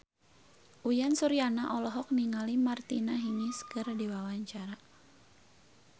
Uyan Suryana olohok ningali Martina Hingis keur diwawancara